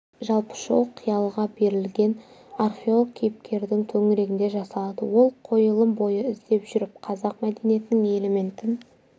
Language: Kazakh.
жалпы шоу қиялға берілген археолог кейіпкердің төңірегінде жасалады ол қойылым бойы іздеп жүріп қазақ мәдениетінің элементін